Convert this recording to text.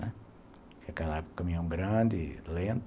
Né, naquela época, caminhão grande, lento.